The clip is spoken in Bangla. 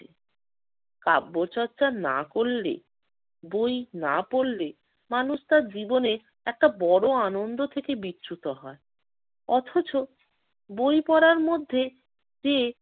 কাব্যচর্চা না করলে, বই না পড়লে মানুষ তার জীবনে একটা বড় আনন্দ থেকে বিচ্যুত হয়। অথচ বই পড়ার মধ্যে যে